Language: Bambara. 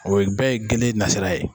O bɛɛ ye gele nasira ye.